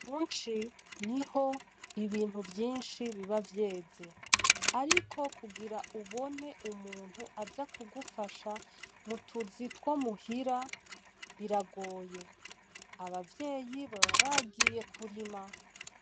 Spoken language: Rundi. Mu ci niho ibintu vyinshi biba vyeze ariko kugira ubone umuntu aza kugufasha mutuzi two muhira biragoye , Abavyeyi baba bagiye kurima.